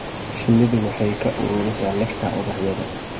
Shinnidu waxay ka ururisaa nectar ubaxyada.